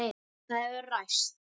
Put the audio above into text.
Það hefur ræst.